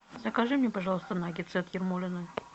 закажи мне пожалуйста наггетсы от ермолино